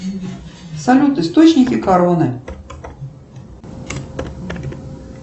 салют источники короны